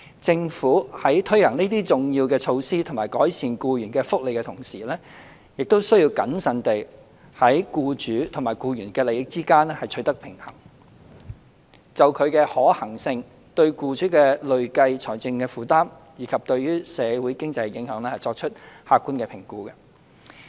政府在推行這些重要措施以改善僱員福利的同時，亦須謹慎地在僱主與僱員的利益之間取得平衡，並就其可行性、對僱主的累計財政負擔，以及對社會經濟的影響，作出客觀的評估。